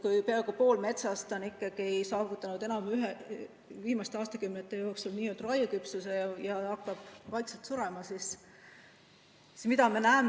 Kui peaaegu pool metsast on saavutanud viimaste aastakümnete jooksul raieküpsuse ja hakkab vaikselt surema, siis mida me näeme?